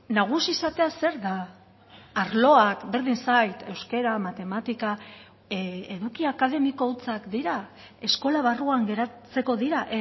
nagusi izatea zer da arloak berdin zait euskara matematika eduki akademiko hutsak dira eskola barruan geratzeko dira